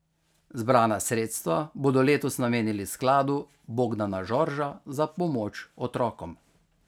Zbrana sredstva bodo letos namenili Skladu Bogdana Žorža za pomoč otrokom.